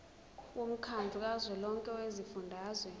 womkhandlu kazwelonke wezifundazwe